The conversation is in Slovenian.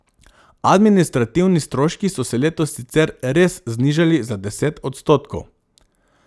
Administrativni stroški so se letos sicer res znižali za deset odstotkov.